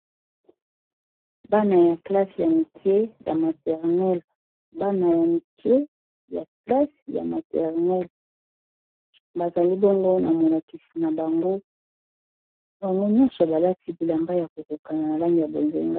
Bana ya classe ya mikie ya maternel bana ya mikie classe ya maternel bazali bongo na molakisi na bango bango nyonso balati bilamba ya kokokana na langi ya bozenga